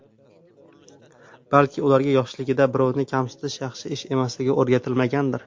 Balki, ularga yoshligida birovni kamsitish yaxshi ish emasligi o‘rgatilmagandir.